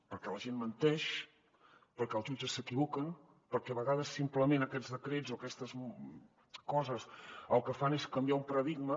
perquè la gent menteix perquè els jutges s’equivoquen perquè a vegades simplement aquests decrets o aquestes coses el que fan és canviar un paradigma